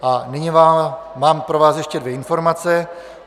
A nyní mám pro vás ještě dvě informace.